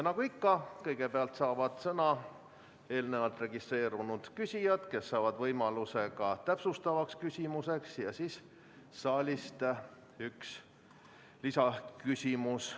Nagu ikka, kõigepealt saavad sõna eelnevalt registreerunud küsijad, kes saavad võimaluse ka täpsustavaks küsimuseks, ja siis saab saalist esitada ühe lisaküsimuse.